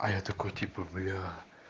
а я такой типа бля